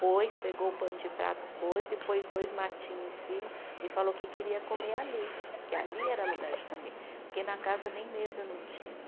Pôs, pegou o pano de prato, pôs e pôs dois matinho em cima e falou que queria comer ali, que ali era lugar de comer, porque na casa nem mesa não tinha.